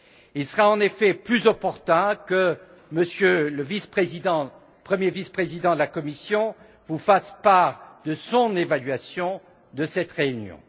Il sera en effet plus opportun que monsieur le vice président, premier vice président de la Commission, vous fasse part de son évaluation de cette réunion.